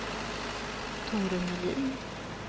Tore Melin